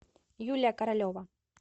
юлия королева